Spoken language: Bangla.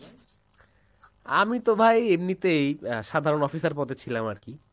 আমি তো ভাই এমনিতে সাধারণ officer পদে ছিলাম আরকি।